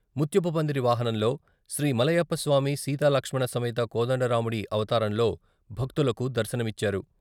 ముత్యపుపందిరి వాహనంలో, " శ్రీమలయప్పస్వామి సీతాలక్ష్మణ సమేత కోదండరాముడి " అవతారంలో భక్తులకు దర్శనమిచ్చారు.